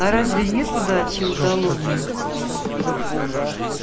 а разве нет удачи удалому